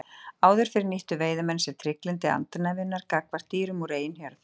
Áður fyrr nýttu veiðimenn sér trygglyndi andarnefjunnar gagnvart dýrum úr eigin hjörð.